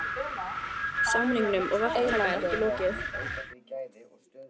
Samningum við verktaka er ekki lokið